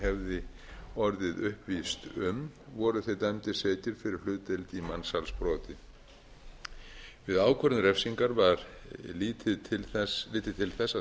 ekki hefði orðið uppvíst um voru þeir dæmdir sekir fyrir hlutdeild í mansalsbroti við ákvörðun refsingar var litið til þess að samverknaður þeirra laut